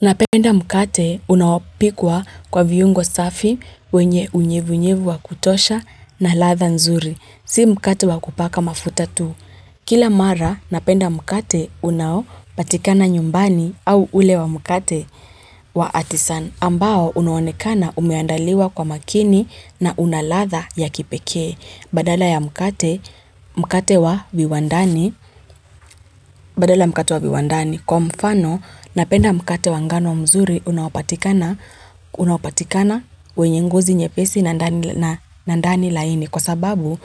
Napenda mkate unaopikwa kwa viungo safi wenye unyevunyevu wa kutosha na ladha nzuri. Si mkate wa kupaka mafuta tu. Kila mara napenda mkate unaopatikana nyumbani au ule wa mkate wa atisani. Ambao unaonekana umeandaliwa kwa makini na una ladha ya kipeke badala ya mkate Badala ya mkate wa viwandani. Kwa mfano napenda mkate wa ngano mzuri unaopatikana wenye ngozi nyepesi na ndani na ndani laini kwa sababu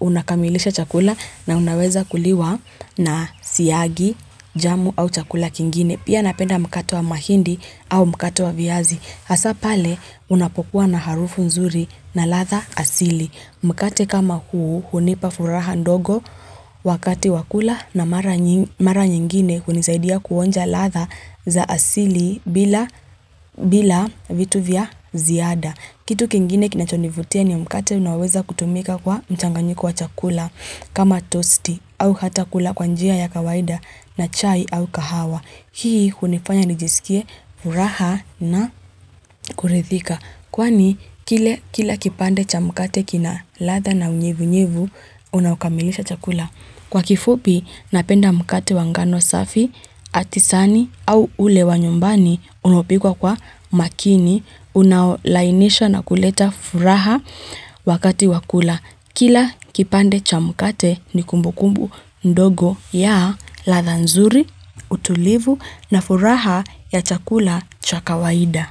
unakamilisha chakula na unaweza kuliwa na siagi jamu au chakula kingine. Pia napenda mkate wa mahindi au mkate wa viazi. Hasa pale unapokuwa na harufu nzuri na ladha asili. Mkate kama huu hunipa furaha ndogo wakati wa kula na mara nyingine hunisaidia kuonja ladha za asili bila vitu vya ziada. Kitu kingine kinachonivutia ni mkate unaoweza kutumika kwa mchanganyiko wa chakula kama tosti au hata kula kwa njia ya kawaida na chai au kahawa. Hii hunifanya nijisikie furaha na kurithika. Kwani kila kipande cha mkate kina ladha na unyevunyevu unaokamilisha chakula. Kwa kifupi napenda mkate wa ngano safi atisani au ule wa nyumbani unaopikwa kwa makini unaolainisha na kuleta furaha wakati wa kula. Kila kipande cha mkate ni kumbukumbu ndogo ya ladha nzuri, utulivu na furaha ya chakula cha kawaida.